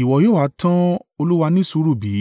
ìwọ yóò ha tan Ọlọ́run ní sùúrù bí?